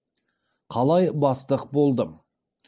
қалай бастық болдым